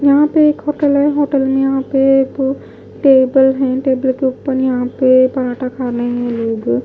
यहां पे एक होटल है होटल में यहां पे वो टेबल हैं टेबल के ऊपर यहां पे पराठा खाने हैं लोग--